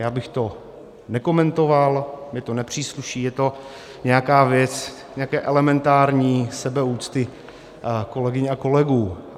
Já bych to nekomentoval, mně to nepřísluší, je to nějaká věc nějaké elementární sebeúcty kolegyň a kolegů.